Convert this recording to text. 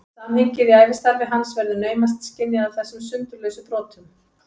Samhengið í ævistarfi hans verður naumast skynjað af þessum sundurlausu brotum.